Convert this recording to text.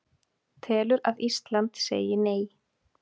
Telur að Ísland segi Nei